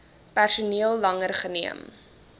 personeel langer geneem